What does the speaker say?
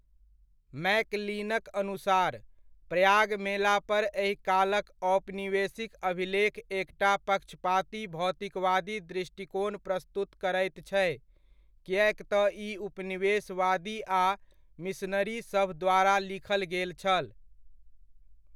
मैकलिनक अनुसार, प्रयाग मेलापर एहि कालक औपनिवेशिक अभिलेख एकटा पक्षपाती भौतिकवादी दृष्टिकोण प्रस्तुत करैत छै, किएक तँ ई उपनिवेशवादी आ मिशनरीसभ द्वारा लिखल गेल छल।